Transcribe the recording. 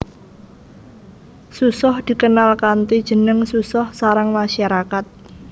Susoh dikenal kanthi jeneng susoh sarang masyarakat